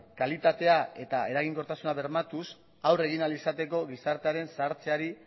kalitatea eta eraginkortasuna bermatuz aurre egin ahal izateko gizartearen zahartzeari